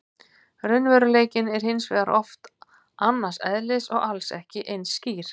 Raunveruleikinn er hins vegar oft annars eðlis og alls ekki eins skýr.